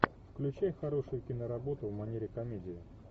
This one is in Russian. включай хорошую киноработу в манере комедия